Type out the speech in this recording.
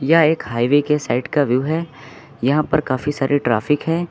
यह एक हाईवे के साइड का व्यू है यहां पर काफी सारी ट्रैफिक है।